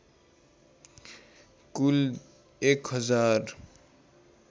कुल १ हजार